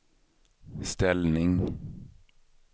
ställning